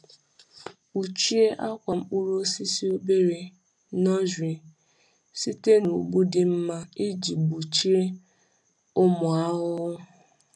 Kpuchie akwa mkpụrụ osisi obere (nursery) site na ụgbụ dị mma iji gbochie ụmụ ahụhụ.